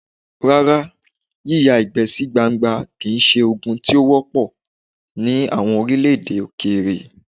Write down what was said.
Rárá, yíyá ìgbẹ́ sí gbangba kì í ṣe ogun tí ó wọ́ pọ̀ ní àwọn orílẹ̀-èdè Òkèèrè.